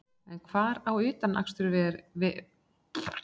En hvar á utanvegaakstur sér aðallega stað?